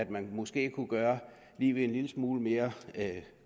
man måske kunne gøre livet en lille smule mere